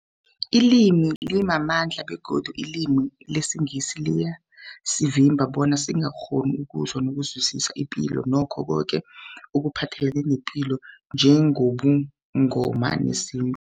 Ilimi limamandla begodu ilimi lesiNgisi liyasivimba bona sikghone ukuzwa nokuzwisisa ipilo nakho koke ekuphathelene nepilo njengobuNgoma nesintu.